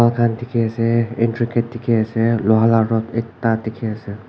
moi khan dikhi ase entry gate dikhi ase loha lah rote ekta dikhi ase.